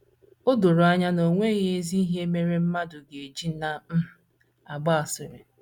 O doro anya na o anya na o nweghị ezi ihe mere mmadụ ga - eji na um - agba asịrị.